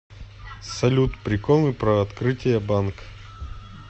салют приколы про открытие банк